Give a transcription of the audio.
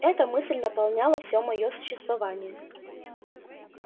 эта мысль наполняла всё моё существование